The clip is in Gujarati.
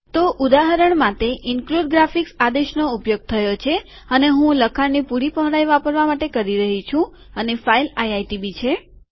તો ઉદાહરણ માટે ઈનક્લુડ ગ્રાફિક્સ આદેશનો ઉપયોગ થયો છે અને હું લખાણની પૂરી પહોળાઈ વાપરવા માટે કહી રહ્યો છું અને ફાઈલ આઈઆઈટીબી છે